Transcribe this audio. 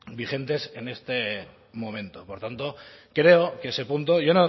vigentes en este momento por tanto creo que ese punto y yo